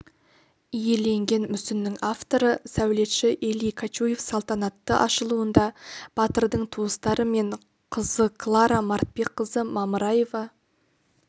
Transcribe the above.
иеленген мүсіннің авторы сәулетші эли качуев салатантты ашылуында батырдың туыстары мен қызы клара мартбекқызы мамыраева